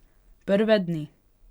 Prve dni.